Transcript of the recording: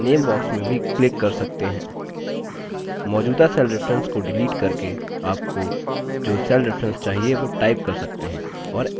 आप name box में भी click कर सकते हैं मौजूदा cell reference को डिलीट करके आपको जो cell reference चाहिए वो type कर सकते हैं और enter press करें